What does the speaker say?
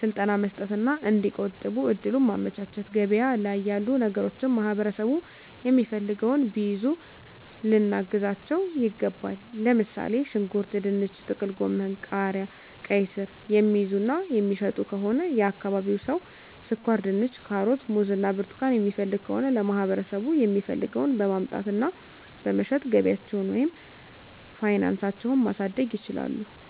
ስልጠና መስጠት እና እዲቆጥቡ እድሉን ማመቻቸት፤ ገበያ ላይ ያሉ ነገሮችን ማህበረሠቡ የሚፈልገውን ቢይዙ ልናግዛቸው ይገባል። ለምሣሌ፦ ሽንኩርት፤ ድንች፤ ጥቅልጎመን፤ ቃሪያ፤ ቃይስር፤ የሚይዙ እና የሚሸጡ ከሆነ የአካባቢው ሠው ስኳርድንች፤ ካሮት፤ ሙዝ እና ብርቱካን የሚፈልግ ከሆነ ለማህበረሰቡ የሚፈልገውን በማምጣት እና በመሸጥ ገቢያቸውን ወይም ፋናሳቸው ማሣደግ ይችላሉ።